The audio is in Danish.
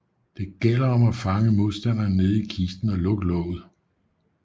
Det gælder om at fange modstanderen nede i kisten og lukke låget